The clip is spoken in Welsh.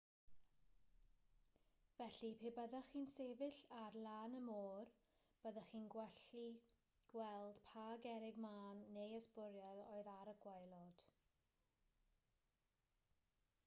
felly pe byddech chi'n sefyll ar lan y môr byddech chi'n gallu gweld pa gerrig mân neu ysbwriel oedd ar y gwaelod